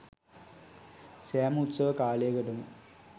සෑම උත්සව කාලයකටම